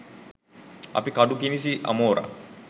අපි කඩු කිනිසි අමෝරා